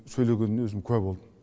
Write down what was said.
сөйлегеніне өзім куә болдым